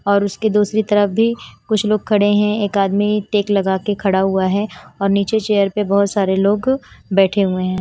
और उसके दूसरी तरफ भी कुछ लोग खड़े हैं एक आदमी टेक लगा के खड़ा हुआ है और नीचे चेयर पे बहुत सारे लोग बैठे हुए हैं।